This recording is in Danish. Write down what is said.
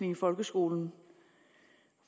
i folkeskolen